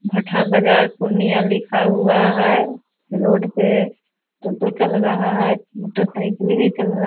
भट्टाह बाजार पूर्णिया लिखा हुआ है रोड पे टोटो चल रहा है मोटर साइकिल भी चल रहा --